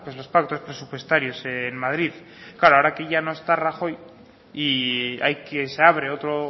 los pactos presupuestarios en madrid claro ahora aquí no está rajoy y hay que se abre otro